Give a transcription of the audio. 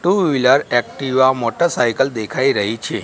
Two wheeler Activa motorcycle દેખાઈ રહી છે.